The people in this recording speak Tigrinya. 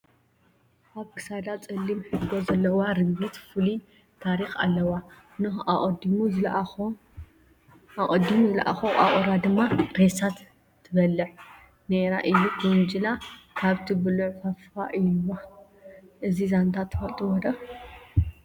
ኣብ ክሳዳ ፀሊም ሕርጎ ዘለዋ ርግቢት ፍሉይ ታሪክ ኣለዋ፡፡ ኖኀ ኣቐዲሙ ዝለኣኾ ቋቑራ ብምጥፍኡ ኖህ ንዓዓ ልኢኹ ሬሳ እንትበልዕ ዝረኸበቶ ቋቑራ ድማ ሬሳ ትበልዕ ነይራ ኢሉ ከውንጅላ ካብቲ ብልዑ ፉፍ ኢሉላ፡፡ እዚ ዛንታ ትፈልጡዎ ዶ